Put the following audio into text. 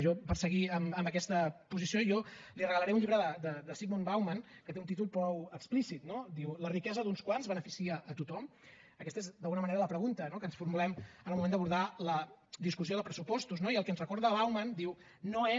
jo per seguir amb aquesta posició li regalaré un llibre de zygmunt bauman que té un títol prou explícit no la riquesa d’uns quants beneficia a tothom nera la pregunta que ens formulem en el moment d’abordar la discussió de pressupostos i el que ens recorda bauman no és